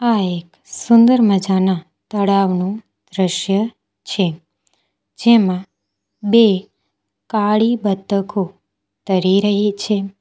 આ એક સુંદર મજાના તળાવનું દ્રશ્ય છે જેમાં બે કાળી બતકો તરી રહી છે.